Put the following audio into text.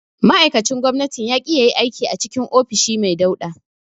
Ma'aikacin gwamnatin ya ƙi yayi aiki a cikin ofishi mai dauɗa.